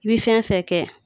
I bi fɛn fɛn kɛ